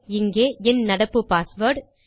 இங்கே என் நடப்பு பாஸ்வேர்ட்